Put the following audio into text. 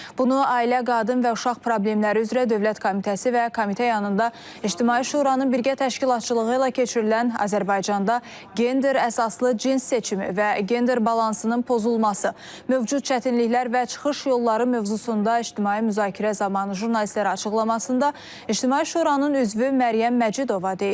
Bunu Ailə, Qadın və Uşaq Problemləri üzrə Dövlət Komitəsi və Komitə yanında İctimai Şuranın birgə təşkilatçılığı ilə keçirilən Azərbaycanda gender əsaslı cins seçimi və gender balansının pozulması, mövcud çətinliklər və çıxış yolları mövzusunda ictimai müzakirə zamanı jurnalistlərə açıqlamasında İctimai Şuranın üzvü Məryəm Məcidova deyib.